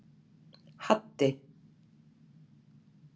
Haddi